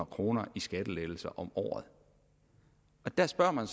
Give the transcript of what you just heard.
kroner i skattelettelser om året der spørger man